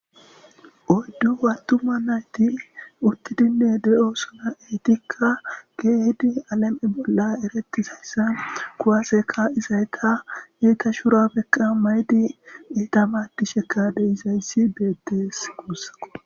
Oyddu wattuma nayti uttidinne de'o suna eetikka geedi alam'e bolla erettizayssa kuwaseka izayta eeta shurabeKa maydi iita maaddisheka deizayssi beettes guussao.